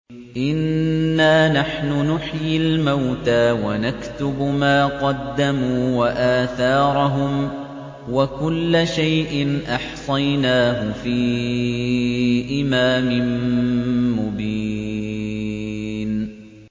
إِنَّا نَحْنُ نُحْيِي الْمَوْتَىٰ وَنَكْتُبُ مَا قَدَّمُوا وَآثَارَهُمْ ۚ وَكُلَّ شَيْءٍ أَحْصَيْنَاهُ فِي إِمَامٍ مُّبِينٍ